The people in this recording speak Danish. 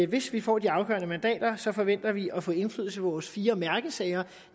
hvis vi får de afgørende mandater så forventer vi at få indflydelse på vores fire mærkesager